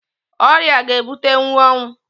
Ọrịa ga ebutenwu ọnwụ